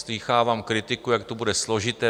Slýchávám kritiku, jak to bude složité.